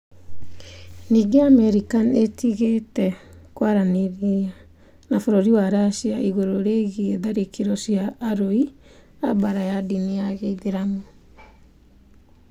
Ningĩ Amerika nĩ ĩtigĩte kwaranĩria na bũrũri wa Racia igũrũ rĩgiĩ tharĩkĩro cia arũi a mbaara a ndini ya gĩithiramu.